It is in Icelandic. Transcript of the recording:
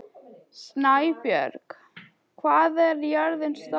Snæbjörg, hvað er jörðin stór?